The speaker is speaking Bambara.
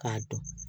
K'a dɔn